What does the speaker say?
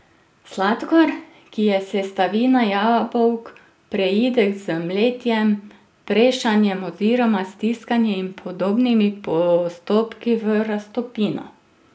Sladkor, ki je sestavina jabolk, preide z mletjem, prešanjem oziroma stiskanjem in podobnimi postopki v raztopino.